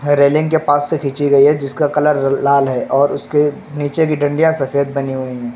Railing के पास से खींची गई है जिसका कलर लाल है और उसके नीचे की डंडियां सफेद बनी हुई हैं।